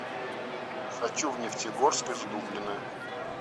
хочу в нефтегорск из дублина